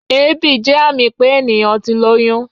Èébì jẹ́ àmì pé ènìyàn ti lóyún.